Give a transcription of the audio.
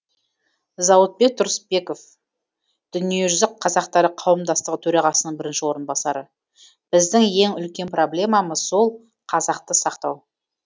зауытбек тұрысбеков дүниежүзі қазақтары қауымдастығы төрағасының бірінші орынбасары біздің ең үлкен проблемамыз сол қазақты сақтау